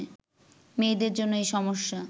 মেয়েদের জন্য এ সমস্যা